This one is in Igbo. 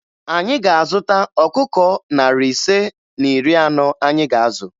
Anyị ga-azụta ọkụkọ narị ise na iri anọ anyị ga-azụ